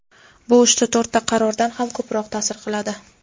Bu uchta-to‘rtta qarordan ham ko‘proq taʼsir qiladi.